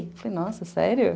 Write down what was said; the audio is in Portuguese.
Falei, nossa, sério?